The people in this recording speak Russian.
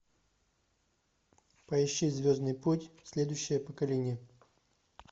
поищи звездный путь следующее поколение